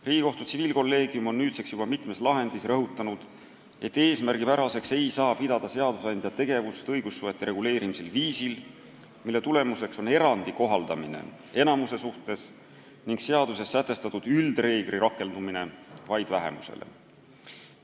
Riigikohtu tsiviilkolleegium on nüüdseks juba mitmes lahendis rõhutanud, et seadusandja tegevust õigussuhete reguleerimisel viisil, mille tulemuseks on erandi kohaldamine enamuse suhtes ning seaduses sätestatud üldreegli rakendumine vaid vähemusele, ei saa pidada eesmärgipäraseks.